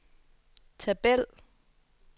tabel